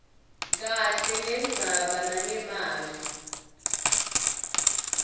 kahle lendzaba nangemavi